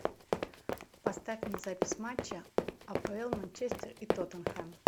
поставь мне запись матча апл манчестер и тоттенхэм